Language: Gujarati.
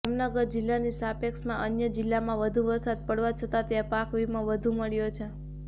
જામનગર જિલ્લાની સાપેક્ષમાં અન્ય જિલ્લામાં વધુ વરસાદ પડવા છતા ત્યા પાક વીમો વધુ મળ્યો છે